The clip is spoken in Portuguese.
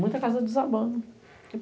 Muitas casas desabando.